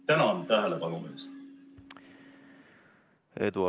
Tänan tähelepanu eest!